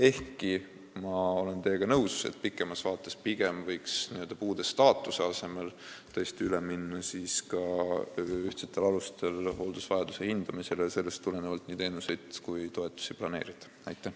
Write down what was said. Ehkki ma olen teiega nõus, et pikemas vaates võiks n-ö puude staatuse arvestamise asemel tõesti üle minna ühtsetel alustel hooldusvajaduse hindamisele ja sellest tulenevalt nii teenuseid kui ka toetusi planeerida.